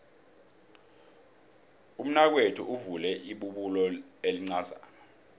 umnakwethu uvule ibubulo elincazana